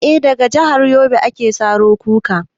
Eh, daga jahar yobe ake saro kuka